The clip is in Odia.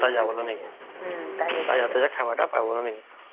ତାଜା ତାଜା ଖାଇବା ଟା ପାଇବା ନାଇଁ କି